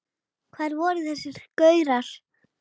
Hvar voru þessir gaurar?